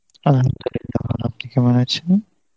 Arbi , ভালো আছি, আপনি কেমন আছেন?